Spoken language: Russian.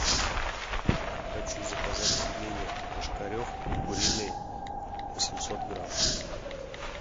хочу заказать пельмени ложкарев куриные восемьсот грамм